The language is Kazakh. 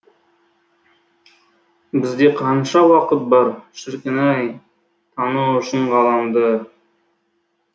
бізде қанша уақыт бар шіркін ай тану үшін ғаламды